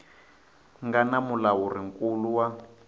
nga na mulawuri nkulu wa